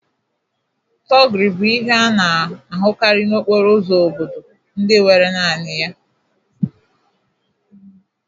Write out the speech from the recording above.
Thuggery bụ ihe a na-ahụkarị n'okporo ụzọ obodo ndị nwere naanị ya